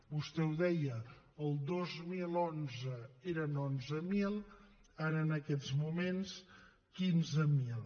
vostè ho deia el dos mil onze eren onze mil ara en aquests moments quinze mil